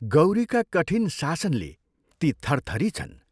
गौरीका कठिन शासनले ती थरथरी छन्।